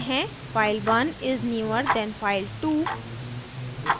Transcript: file1 is newer than file2